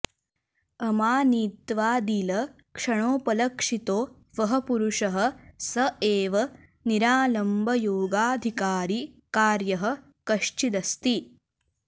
अमानित्वादिलक्षणोपलक्षितो वः पुरुषः स एव निरालम्बयोगाधिकारी कार्यः कश्चिदस्ति